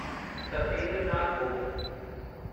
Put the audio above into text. Satyendra Nath Bose